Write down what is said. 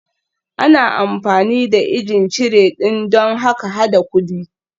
Ana amfani da ijin cire ɗin don hada-hadar kuɗi